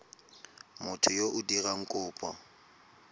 motho yo o dirang kopo